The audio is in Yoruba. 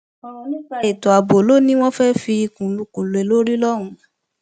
ọrọ nípa ètò ààbò ló ní wọn fẹẹ fikùn lukùn lé lórí lọhùnún